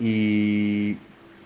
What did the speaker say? и